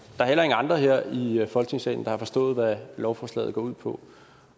er heller ingen andre her i folketingssalen der har forstået hvad lovforslaget går ud på